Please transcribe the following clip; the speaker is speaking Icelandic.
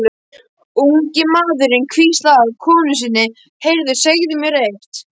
Ungi maðurinn hvíslaði að konu sinni: Heyrðu, segðu mér eitt.